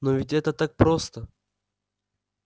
но ведь это так просто